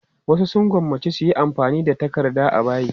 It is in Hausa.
Wasu sun gwammaci su yi amfani da takarda a bayi.